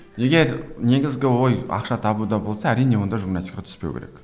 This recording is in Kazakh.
егер негізгі ой ақша табуда болса әрине онда журналистикаға түспеу керек